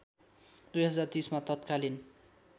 २०३० मा तत्कालीन